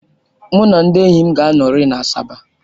Mụ na ndị enyi m ga-anọrị na Asaba.